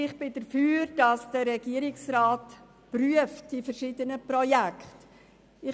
Ich bin dafür, dass der Regierungsrat die verschiedenen Projekte prüft.